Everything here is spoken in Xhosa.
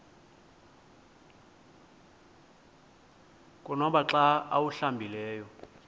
konwaba xa awuhlambileyo